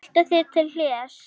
Haltu þig til hlés.